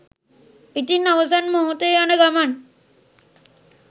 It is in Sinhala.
ඉතිං අවසන් මොහොතේ යන ගමන්